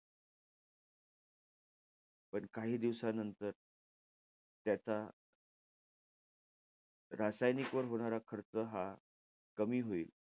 पण काही दिवसानंतर त्याचा रासायनिक वर होणार खर्च हा कमी होईल.